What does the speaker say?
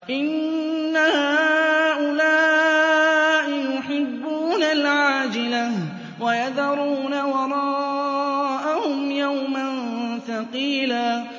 إِنَّ هَٰؤُلَاءِ يُحِبُّونَ الْعَاجِلَةَ وَيَذَرُونَ وَرَاءَهُمْ يَوْمًا ثَقِيلًا